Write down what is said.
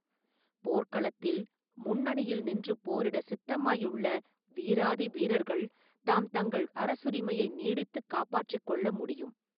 போர்க்களத்தில் முன்னணியில் நின்று போரிட சித்தமாயுள்ள வீராதி வீரர்கள் தாம் தங்கள் அரசுரிமையை நீடித்துக் காப்பாற்றிக் கொள்ள முடியும்.